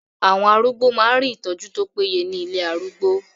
Àwọn arúgbó máa ń rí ìtọ́jú tó péye ní ilé arúgbó.